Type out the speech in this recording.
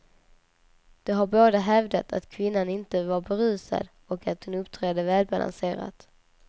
De har båda hävdat att kvinnan inte var berusad och att hon uppträdde välbalanserat.